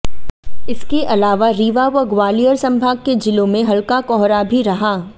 इसके अलावा रीवा व ग्वालियर संभाग के जिलांे में हल्का कोहरा भी रहा